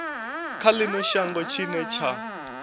kha ino shango tshine tsha